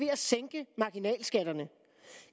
at sænke marginalskatterne